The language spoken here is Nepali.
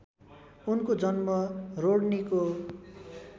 उनको जन्म रोड्नीको